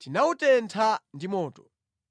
tinawutentha ndi moto.”